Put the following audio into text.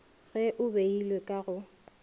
ge e beilwe ka go